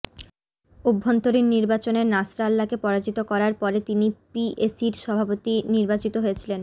অভ্যন্তরীণ নির্বাচনে নাসরাল্লাকে পরাজিত করার পরে তিনি পিএসি সভাপতি নির্বাচিত হয়েছিলেন